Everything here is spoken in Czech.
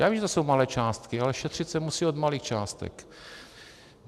Já vím, že to jsou malé částky, ale šetřit se musí od malých částek.